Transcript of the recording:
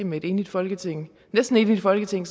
med et enigt folketing næsten enigt folketing